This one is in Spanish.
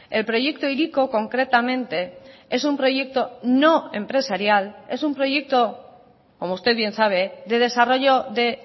el proyecto hiriko concretamente es un proyecto no empresarial es un proyecto como usted bien sabe de desarrollo de